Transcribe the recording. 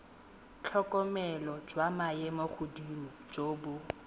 tlhokomelo jwa maemogodimo jo bo